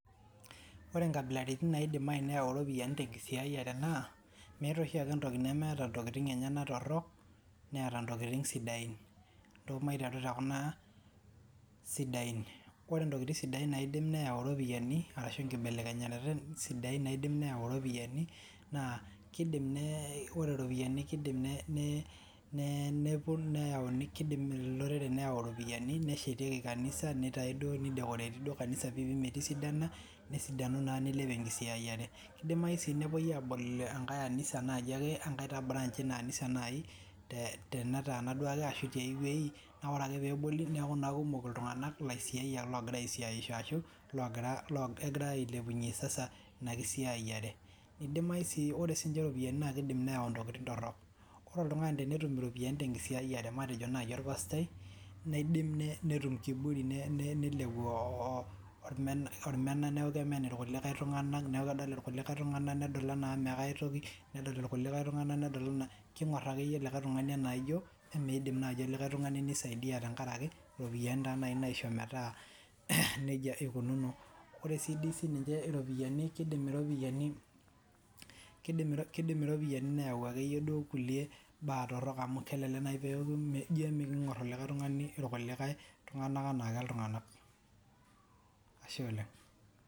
Ore inkabilaritin naidimayu neyau iropiyiani tenkisiayiare naa meeta oshiake entoki nemeeta intokitin enyanak torok, neeta intokitin sidain. Ntoo maiteru tekuna sidain; ore intokitin sidain naidimayu neyau iropiyiani ashu inkibelekenyat sidain naidimayu neyau iropiyiani naa kiidim olorere neyau iropiyiani neshetieki kanisa, nidekoreti duo piipi metisidana, nesidanu duo niilep enkisiayiare. Kidimayu sii nepoi aabol enkae anisa naayiake ankae tinabranj eina anisa nayiak tenetaana naayiake ashu tiawoi naa ore peeboli neeku kumok iltunganak ashu ilasiayiak agira asiaisho, kegira ailepunyie sasa inakisiayiare. Idimayu sii ore sininje iropiyiani naa kiidim neyau intokitin torok; ore oltungani tenetum iropiyiani tenkisiayiare matejo naaji olpastai, niidim netum kiburi nilepu olmena neeku kemen ilkulikai tunganak neeku kedol ilkulikai tunganak enaa meetoki, kingor akeyie likae tungani anaaijo midim naayi likae tungani nisaidia tenkaraki iropiyiani nai naisho metaa nejia ikunono. Ore sii dii ninye iropiyiani kidim, kidim iropiyiani neewu akeyie kulie baa torok amu kelelek eeku kingor oltungani kulie tunganak enaa mee iltunganak.